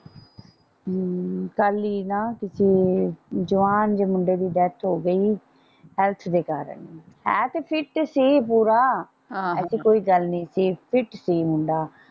ਹਮ ਕੱਲ ਈ ਨਾ ਕਿਤੇ ਜਵਾਨ ਜੇ ਮੁੰਡੇ ਦੀ ਡੈਥ ਹੋ ਗਈ ਹੈਲਥ ਦੇ ਕਾਰਨ ਹੈ ਤੇ ਫਿੱਟ ਸੀ ਪੂਰਾ ਐਸੀ ਕੋਈ ਗੱਲ ਨਹੀਂ ਸੀ ਫਿੱਟ ਸੀ ਮੁੰਡਾ।